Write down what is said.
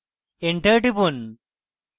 enter টিপুন